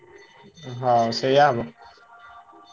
ହଁ ସେୟା ହବ।